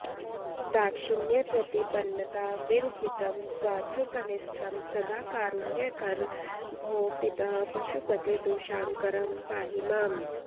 दाक्षिण्यप्रतिपन्नताविरहितं स्वार्थैकनिष्ठं सदा कारुण्याकर भो पितः पशुपते दोषाकरं पाहि माम्